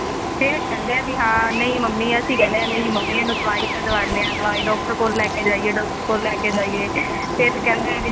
ਫੇਰ ਕਹਿੰਦੇ ਆ ਨਹੀਂ mummy ਅਸੀਂ ਕਹਿੰਨੇ ਹਾ ਇਹਨੂੰ ਦਵਾਈ ਤਾਂ ਦਿਵਾਂਦੇ ਆ ਦਵਾਈ ਡਾਕਟਰ ਕੋਲ ਲੈਕੇ ਜਾਈਏ ਡਾਕਟਰ ਕੋਲ ਲੈਕੇ ਜਾਈਏ ਫਿਰ ਕਹਿੰਦੇ ਹੈ ਜੀ